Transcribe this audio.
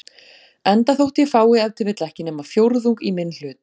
enda þótt ég fái ef til vill ekki nema fjórðung í minn hlut.